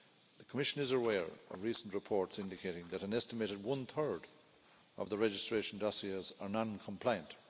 The Commission is aware of recent reports indicating that an estimated one-third of the registration dossiers are non-compliant.